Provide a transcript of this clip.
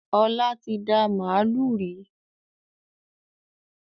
Ọlá tí dá màálù rí.